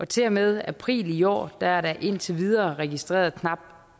til og med april i år er der indtil videre registreret knap